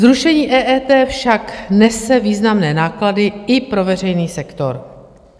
Zrušení EET však nese významné náklady i pro veřejný sektor.